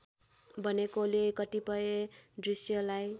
बनेकोले कतिपय दृश्यलाई